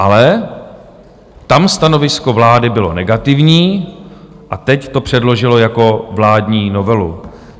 Ale tam stanovisko vlády bylo negativní, a teď to předložila jako vládní novelu.